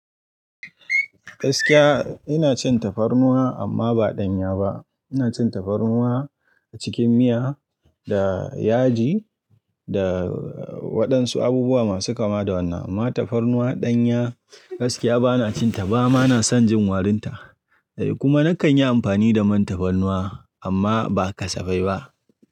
Gaskiya ina cin tafarnuwa amma ba ɗanya ba. Ina cin tafarnuwa cikin miya da yaji da waɗansu abubuwa masu kama da wannan. Amma tafarnuwa ɗanya gaskiya bana cin ta ba. Bana son jin warinta. Kuma nakan yi amfani da man tafarnuwa amma ba kasafai ba.